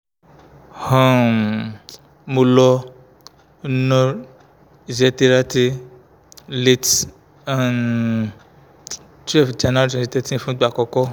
um mo lo nur iseterate late um twelve january twenty thirteen fun igba akoko um